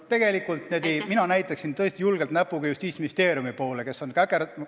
Tegelikult mina näitaksin julgelt näpuga Justiitsministeeriumi poole, kes on käkerd...